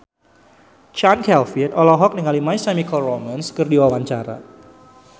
Chand Kelvin olohok ningali My Chemical Romance keur diwawancara